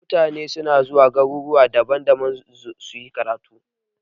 Mutane na zuwa garuruwa daban-daban suyi karatu.